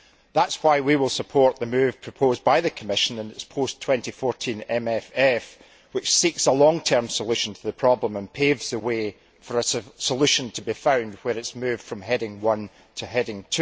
That is why we will support the move proposed by the Commission in its post 2014 MFF, which seeks a long term solution to the problem and paves a way for a solution to be found when it is moved from Heading 1 to Heading